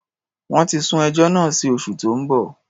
Wọ́n ti sún ẹjọ́ náà sí oṣù tó ń bọ̀.